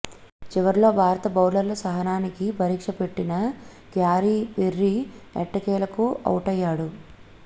చివర్లో భారత బౌలర్ల సహనానికి పరీక్ష పెట్టిన క్యారీ పిర్రె ఎట్టకేలకు ఔటయ్యాడు